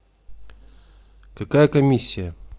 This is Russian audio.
какая комиссия